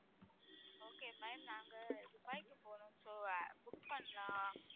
okay ma'am நாங்க துபாய்க்கு போறோம் so book பண்ணலாம்